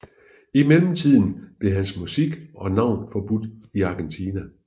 I mellemtiden blev hans musik og navn forbudt i Argentina